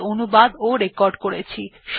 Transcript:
এই টিউটোরিয়াল এ অংশগ্রহণ করার জন্য ধন্যবাদ